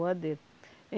Boa dele.